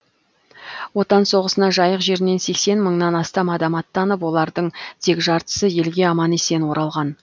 отан соғысына жайық жерінен сексен мыңнан астам адам аттанып олардың тек жартысы елге аман есен оралған